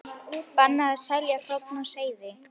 Bannað að selja hrogn og seiði